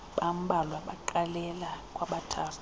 bambalwa baqalela kwabathathu